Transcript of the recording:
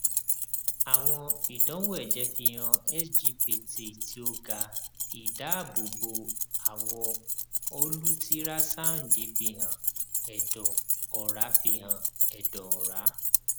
awọn idanwo ẹjẹ fihan sgpt ti o ga idaabobo awọ olutirasandi fihan ẹdọ ọra fihan ẹdọ ọra